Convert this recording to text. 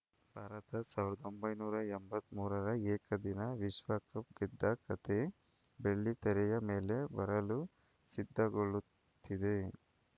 ಭಾರತ ಸಾವಿರದ ಒಂಬೈನೂರ ಎಂಬತ್ತ್ ಮೂರರ ಏಕದಿನ ವಿಶ್ವಕಪ್‌ ಗೆದ್ದ ಕಥೆ ಬೆಳ್ಳಿ ತೆರೆಯ ಮೇಲೆ ಬರಲು ಸಿದ್ಧಗೊಳ್ಳುತ್ತಿದೆ